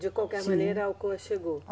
De qualquer maneira, a Alcoa chegou.